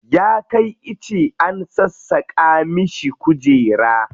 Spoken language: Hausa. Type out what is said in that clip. Ya kai ice an sassaƙa mishi kujera.